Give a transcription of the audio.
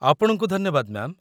ଆପଣଙ୍କୁ ଧନ୍ୟବାଦ, ମ୍ୟା'ମ୍